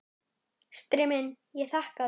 Fóstri minn, ég þakka þér.